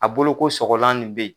A bolo ko sɔgɔlan nin bɛ ye.